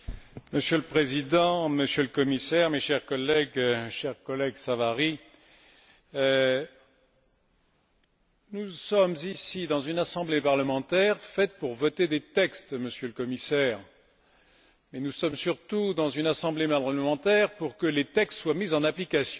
Monsieur le Président, Monsieur le Commissaire, mes chers collègues, cher collègue Savary, nous sommes ici dans une assemblée parlementaire faite pour voter des textes, Monsieur le Commissaire, et nous sommes surtout dans une assemblée parlementaire pour que les textes soient mis en application.